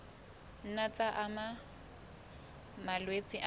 nna tsa ama malwetse a